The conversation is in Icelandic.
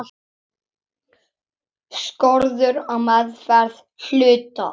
Skorður á meðferð hluta.